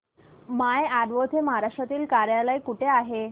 माय Advo चे महाराष्ट्रातील कार्यालय कुठे आहे